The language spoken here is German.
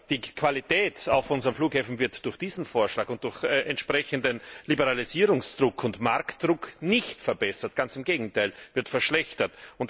Die Qualität auf unseren Flughäfen wird durch diesen Vorschlag und durch entsprechenden Liberalisierungsdruck und Marktdruck nicht verbessert ganz im Gegenteil, sie wird verschlechtert.